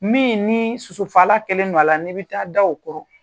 Min ni sosofala kelen don a la ne bɛ taa da o kɔrɔ.